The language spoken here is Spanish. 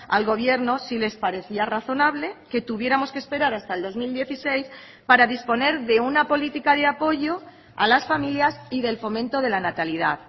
al gobierno si les parecía razonable que tuviéramos que esperar hasta el dos mil dieciséis para disponer de una política de apoyo a las familias y del fomento de la natalidad